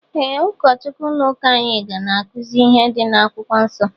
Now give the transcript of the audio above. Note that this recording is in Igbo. Ee ụkọchukwu ụlọ ụka anyị na akuzi ihe dị na akwụkwọ nsó.